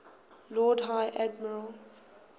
lord high admiral